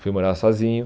Fui morar sozinho.